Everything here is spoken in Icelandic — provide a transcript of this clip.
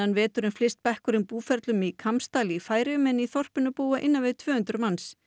veturinn flyst bekkurinn búferlum í Kambsdal í Færeyjum en í þorpinu búa innan við tvö hundruð manns